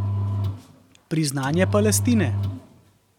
Priznanje Palestine.